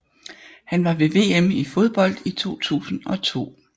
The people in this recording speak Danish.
Han var ved VM i fodbold 2002